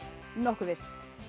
nokkuð viss